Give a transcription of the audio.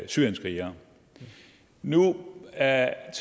syrienskrigere nu er er